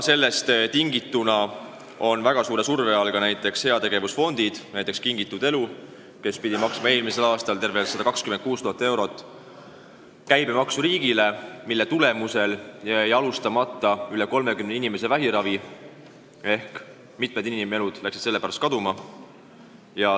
Sellest tingituna on väga suure surve all ka heategevusfondid, näiteks Kingitud Elu, kes pidi eelmisel aastal riigile maksma tervelt 126 000 eurot käibemaksu, mille tõttu jäi alustamata rohkem kui 30 inimese vähiravi ehk mitmed inimelud on sellepärast kaotatud.